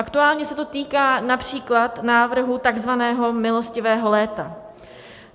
Aktuálně se to týká například návrhu takzvaného milostivého léta.